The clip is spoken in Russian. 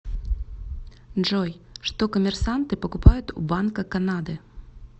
джой что коммерсанты покупают у банка канады